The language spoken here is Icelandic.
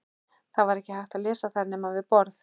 Það var ekki hægt að lesa þær nema við borð.